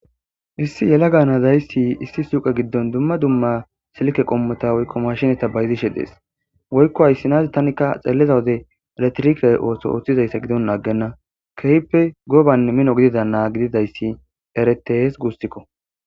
Issi yela gaanazayssi issi suqa giddon dumma dumma silke qommota woykko mashineta bayzishe dees woykko hayssinazi tanikka xelleza wode eretrike ooso ooththizayssa gidon aggenna kehppe gobanne mino gidida naa gididayssi eretees guustikko